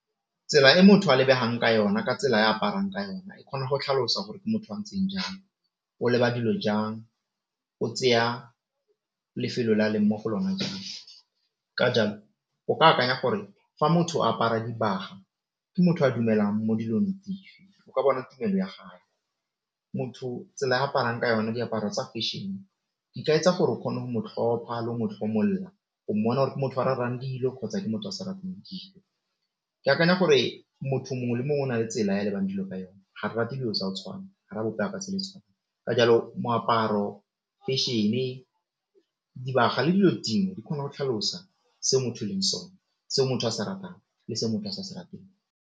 Tsela e motho a lebegang ka yona ka tsela ya aparang ka yone e kgona go tlhalosa gore motho a ntseng jang, o leba dilo jang, o tseya lefelo le a leng mo go lona jang ka jalo o ka akanya gore fa motho a apara dibaga ke motho a dumelang mo dilong dife o ka bona tumelo ya gage, motho tsela ya aparang ka yona diaparo tsa fashion di ka etsa gore o kgona le go mo tlhomola o monna gore ke motho wa ratang dilo kgotsa ke motho a sa ratang dilo. Ke akanya gore motho mongwe le mongwe o na le tsela ya lebang dilo ka yone ga re rate dilo tsa go tshwana ka jalo moaparo, fashion, dibaga le dilo di kgona go tlhalosa se motho e leng sone se motho a se ratang le se motho a se a se rateng.